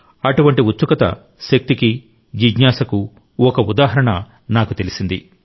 అటువంటి ఉత్సుకత శక్తికి జిజ్ఞాసకు ఒక ఉదాహరణ నాకు తెలిసింది